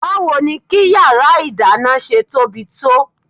Báwo ni kí yàrá ìdáná ṣe tóbi tó?